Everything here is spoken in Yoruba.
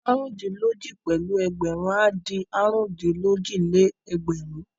Àrùndín-lójì pẹ̀lú ẹgbẹ̀rún á di àrùndín-lójì-lé-ẹgbẹ̀rún.